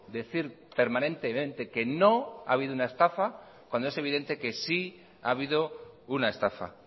decir permanentemente que no ha habido una estafa cuando es evidente que sí ha habido una estafa